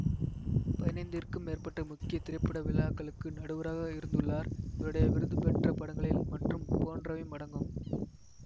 பதினைந்திற்கும் மேற்பட்ட முக்கிய திரைப்பட விழாக்களுக்கு நடுவராக இருந்துள்ளார் இவருடைய விருது பெற்ற படங்களில் மற்றும் போன்றவையும் அடங்கும்